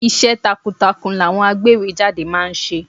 Iṣẹ́ takuntakun làwọn agbéwèé jáde ma ń ṣe.